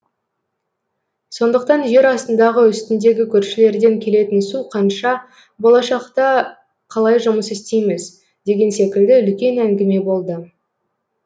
сондықтан жер астындағы үстіндегі көршілерден келетін су қанша болашақта қалай жұмыс істейміз деген секілді үлкен әңгіме болды